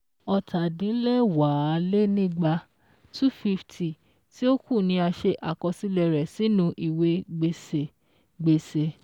Ọ̀tàdínlẹ́wàálénígba(250) tí ó kù ni a ṣe àkọsílẹ̀ rẹ̀ sínu ìwé gbèsè gbèsè